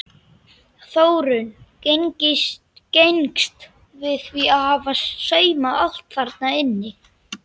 Þórunn gengst við því að hafa saumað allt þarna inni.